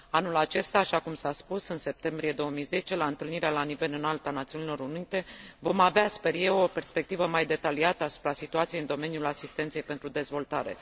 Anul acesta, așa cum s a spus în septembrie 2010 la întâlnirea la nivel înalt a Națiunilor Unite, vom avea, sper eu, o perspectivă mai detaliată asupra situației în domeniul asistenței pentru dezvoltare.